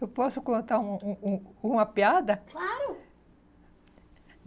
Eu posso contar um um um uma piada? Claro!